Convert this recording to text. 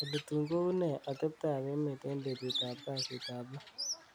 olly tun koune atebtab emet en betut ab kasit ap lo